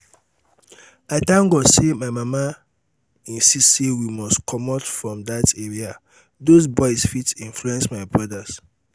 i thank god say my mama insist say we must comot from dat area doz boys fit influence my brothers